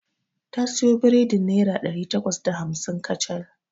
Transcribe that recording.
Ta siyo biredin naira ɗari takwas da hamsin kacal.